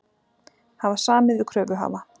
Hafa samið við kröfuhafa